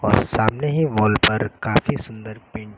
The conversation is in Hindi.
और सामने ही वॉल पर काफी सुंदर पेंटिंग --